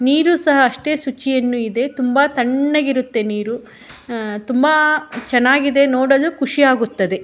ನೀರುಸ ಅಷ್ಟೇ ಶುಚಿಯನ್ನು ಇದೆ ತುಂಬ ಥಣ್ಣಗ್ ಇರುತ್ತೆ ನೀರು ಆ ತುಂಬ ಚೆನ್ನಾಗಿದೆ ನೋಡಲು ಖುಷಿ ಆಗುತ್ತದೆ.